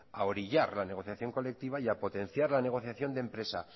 a orillar la negociación colectiva y a potenciar la negociación de empresa